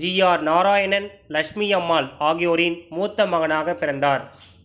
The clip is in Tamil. ஜி ஆர் நாராயணன் லக்ஷ்மி அம்மாள் ஆகியோரின் மூத்த மகனாகப் பிறந்தார்